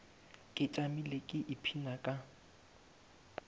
ke tšamile ke ipshina ka